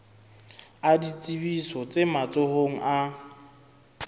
a ditsebiso tse matsohong a